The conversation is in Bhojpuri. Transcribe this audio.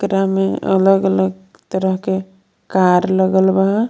में अलग अलग तरह के कार लगल बा।